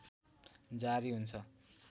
जारी हुन्छ